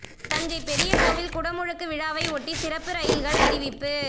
தஞ்சை பெரிய கோவில் குடமுழுக்கு விழாவை ஒட்டி சிறப்பு ரயில்கள் அறிவிப்பு